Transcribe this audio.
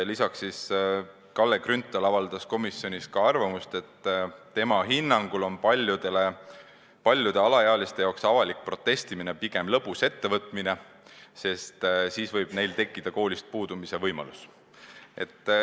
Lisaks avaldas Kalle Grünthal komisjonis arvamust, et tema hinnangul on paljude alaealiste arvates avalik protestimine pigem lõbus ettevõtmine, sest siis võib neil tekkida koolist puudumise võimalus.